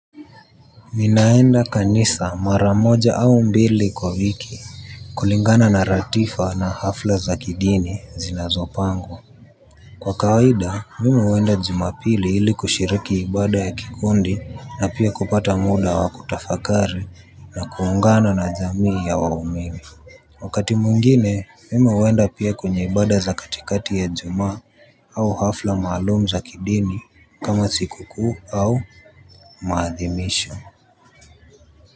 Mi naenda kanisa maramoja au mbili kwa wiki kulingana na ratifa na hafla za kidini zinazopangwa. Kwa kawaida mi huenda jumapili ili kushiriki ibada ya kikundi na pia kupata muda wa kutafakari na kuungana na jamii ya waumimi. Wakati mwingine mimi huenda pia kwenye ibada za katikati ya ijumaa au hafla malum za kidini kama sikukuu au maadhimisho.